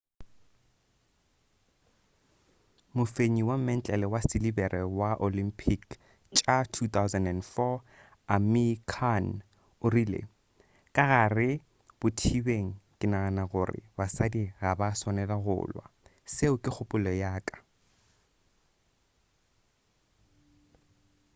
mofenyi wa mentlele wa silebere wa olympic tša 2004 amir khan o rile ka gare bothibeng ke nagana gore basadi ga ba swanela go lwa seo ke kgopolo ya ka